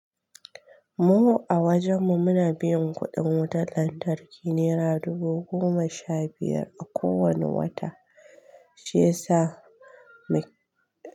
Mu a wajenmu muna biyan kuɗin wutar lantarki nera dubu goma sha biyar a kowane wata shi yasa mai.